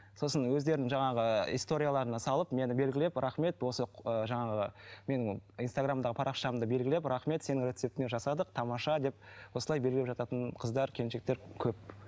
сосын өздерін жаңағы историяларына салып мені белгілеп рахмет осы жаңағы менің инстаграмдағы парақшамды белгілеп рахмет сенің рецептіңмен жасадық тамаша деп осылай белгілеп жататын қыздар келіншектер көп